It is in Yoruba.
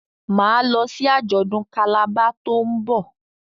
Ma lọ sí ajọdun Calabar to'n nbọ.